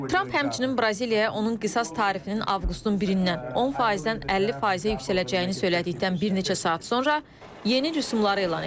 Tramp həmçinin Braziliyaya onun qisas tarifinin avqustun 1-dən 10%-dən 50%-ə yüksələcəyini söylədikdən bir neçə saat sonra yeni rüsumları elan edib.